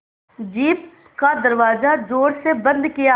jeep का दरवाज़ा ज़ोर से बंद किया